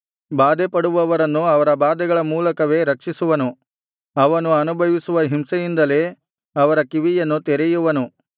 ಬಾಧೆಪಡುವವರನ್ನು ಅವರ ಬಾಧೆಗಳ ಮೂಲಕವೇ ರಕ್ಷಿಸುವನು ಅವರು ಅನುಭವಿಸುವ ಹಿಂಸೆಯಿಂದಲೇ ಅವರ ಕಿವಿಯನ್ನು ತೆರೆಯುವನು